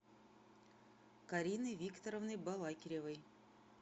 кариной викторовной балакиревой